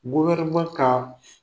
ka